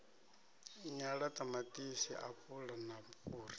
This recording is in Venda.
nyala ṱamaṱisi apula na fhuri